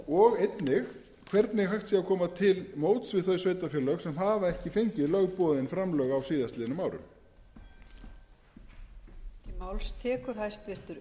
og einnig hvernig hægt sé að koma til móts við þau sveitarfélög sem hafa ekki fengið lögboðin framlög á síðastliðnum árum